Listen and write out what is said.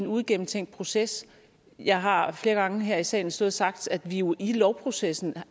uigennemtænkt proces jeg har flere gange her i salen stået og sagt at vi jo i lovprocessen